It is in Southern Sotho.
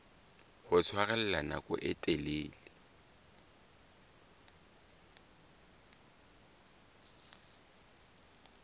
ho tshwarella nako e telele